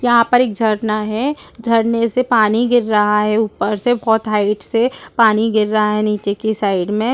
यहां पर एक झरना है झरने से पानी गिर रहा है ऊपर से बहुत हाइट से पानी गिर रहा है नीचे की साइड में।